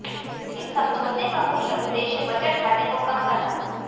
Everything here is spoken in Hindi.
इस समझौते का मुख्य उद्देश्य बजट घाटे को कम करना था